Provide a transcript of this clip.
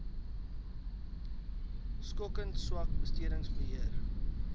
skokkend swak bestedingsbeheer